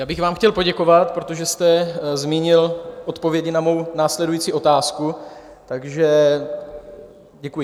Já bych vám chtěl poděkovat, protože jste zmínil odpovědi na mou následující otázku, takže děkuji.